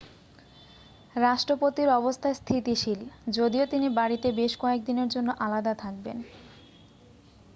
রাষ্ট্রপতির অবস্থা স্থিতিশীল যদিও তিনি বাড়িতে বেশ কয়েকদিনের জন্য আলাদা থাকবেন